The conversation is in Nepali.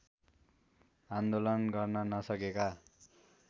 आन्दोलन गर्न नसकेका